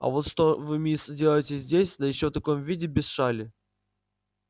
а вот что вы мисс делаете здесь да ещё в таком виде без шали